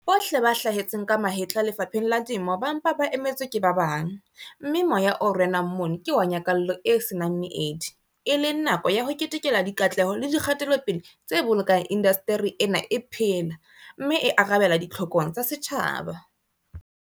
Bohle ba hlahetseng ka mahetla lefapheng la Temo ba mpa ba emetswe ke ba bang, mme moya o renang mono ke wa nyakallo e se nang meedi, e leng nako ya ho ketekela dikatleho le dikgatelopele tse bolokang indasteri ena e phela, mme e arabela ditlhokong tsa setjhaba.